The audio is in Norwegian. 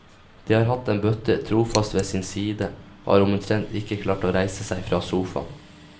De har hatt en bøtte trofast ved sin side, og har omtrent ikke klart å reise seg fra sofaen.